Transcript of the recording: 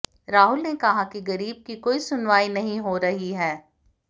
राहुल ने कहा की गरीब की कोई सुनवाई नहीं होरही है